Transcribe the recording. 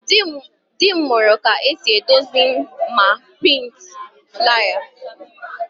Dị m mụrụ ka esi edozi ma a prịntị flaya